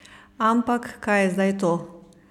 Ampak kaj je zdaj to?